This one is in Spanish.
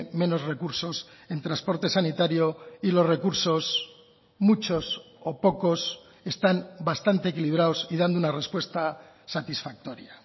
menos recursos en transporte sanitario y los recursos muchos o pocos están bastante equilibrados y dando una respuesta satisfactoria